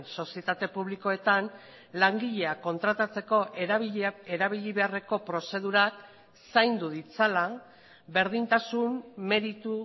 sozietate publikoetan langileak kontratatzeko erabili beharreko prozedurak zaindu ditzala berdintasun meritu